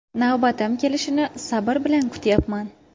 Navbatim kelishini sabr bilan kutyapman.